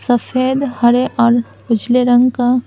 सफेद हरे और उजले रंग का--